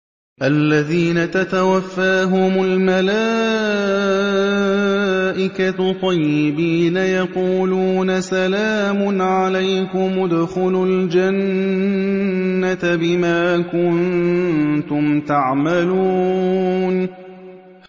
الَّذِينَ تَتَوَفَّاهُمُ الْمَلَائِكَةُ طَيِّبِينَ ۙ يَقُولُونَ سَلَامٌ عَلَيْكُمُ ادْخُلُوا الْجَنَّةَ بِمَا كُنتُمْ تَعْمَلُونَ